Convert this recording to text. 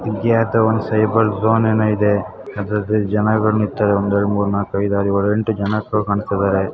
ಇದಿಯ್ಯಾದೊ ಒಂದು cyber zone ಏನೋ ಇದೆ ಇದರಲ್ಲಿ ಜನಗೊಳ ನಿಕ್ತಾರೆಒಂದೆ ಎರಡು ಮೂರು ನಾಲ್ಕು ಐದು ಆರು ಏಳು ಎಂಟು ಜನ ಶೋ ಕಾಣಿಸ್ತಾ ಇದ್ದಾರೆ.